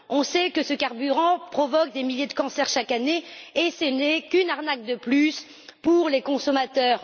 On sait que ce carburant provoque des milliers de cancers chaque année, et ce n'est qu'une arnaque de plus pour les consommateurs.